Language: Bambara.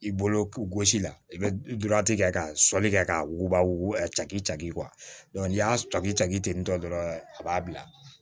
I bolo gosi la i bɛ kɛ ka sɔli kɛ k'a wuguba wuguba a k'i caki ni y'a cɔkitɔn dɔrɔn a b'a bila